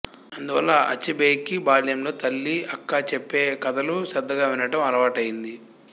అందువల్ల అచెబెకి బాల్యంలో తల్లి అక్క చెప్పే కథలు శ్రధ్ధగా వినటం అలవాటయ్యింది